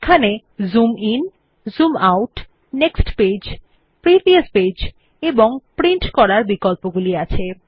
এখানে zoom in zoom out next page previous page এবং print করার বিকল্পগুলি আছে